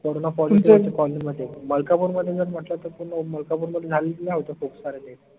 corona होते colony मध्ये मलकापूर मध्ये जर म्हंटल त पूर्न मलकापूर मध्ये होत खूप सारे death